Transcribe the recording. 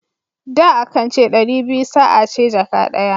Da, a kan ce ɗari biyu sa a ce jaka daya.